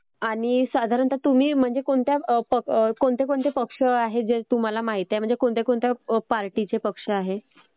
आणि साधारणतः तुम्ही म्हणजे कोणत्या कोणकोणते पक्ष आहेत जे तुम्हाला माहिती आहेत म्हणजे कोणत्या कोणत्या पार्टीचे पक्ष आहेत?